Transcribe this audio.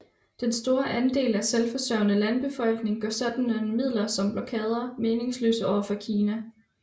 Den store andel selvforsørgende landbefolkning gør sådanne midler som blokade meningsløse over for Kina